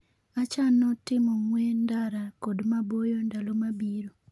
Achano timo ng'we ndara kod maboyo ndalo mabiro